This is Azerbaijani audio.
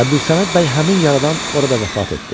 Əbdülsəməd bəy həmin yaradan orada vəfat etdi.